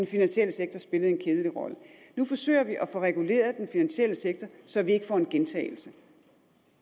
finansielle sektor spillede en kedelig rolle nu forsøger vi at få reguleret den finansielle sektor så vi ikke får en gentagelse